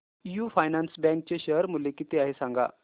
AU finance bank चे share मूल्य किती आहे सांगा